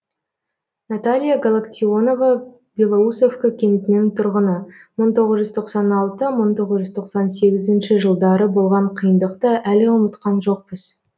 наталья галактионова белоусовка кентінің тұрғыны мың тоғыз жүз тоқсан алты мың тоғыз жүз тоқсан сегізінші жылдары болған қиындықты әлі ұмытқан жоқпыз